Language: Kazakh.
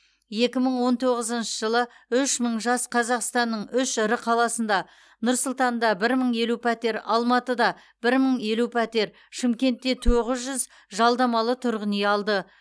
екі мың он тоғызыншы жылы үш мың жас қазақстанның үш ірі қаласында нұр сұлтанда бір мың елу пәтер алматыда бір мың елу пәтер шымкентте тоғыз жүз жалдамалы тұрғын үй алды